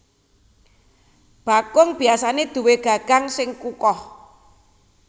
Bakung biasané duwé gagang sing kukoh